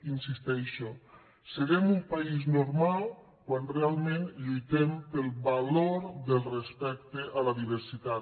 hi insisteixo serem un país normal quan realment lluitem pel valor del respecte a la diversitat